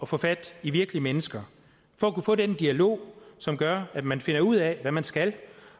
få fat i virkelige mennesker for at kunne få den dialog som gør at man finder ud af hvad man skal